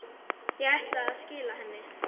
Ég ætlaði að skila henni.